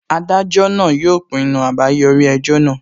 Adájọ náà yóò pinnu àbáyọrí ẹjọ́ náà